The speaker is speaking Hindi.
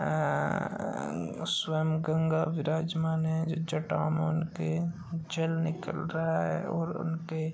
अन्न्न्न्न् स्वयं गंगा विराजमान है। जल निकल रहा है और उनके --